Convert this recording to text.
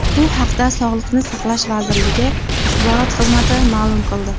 Bu haqda Sog‘liqni saqlash vazirligi axborot xizmati ma’lum qildi .